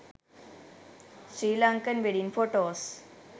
sri lankan wedding photos